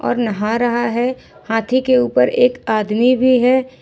और नहा रहा है हाथी के ऊपर एक आदमी भी है।